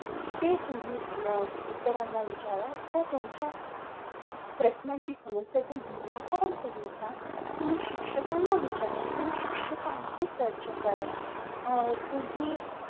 ते तुम्ही इतरांना विचार किंवा तुमच्या प्रश्नांचे समस्यांचे निराकरण करून घ्या तुम्ही शिक्षकांना विचार तुम्ही शिक्षकांशी चर्चा करा अह तुम्ही